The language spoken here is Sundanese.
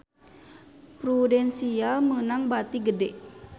Prudential meunang bati gede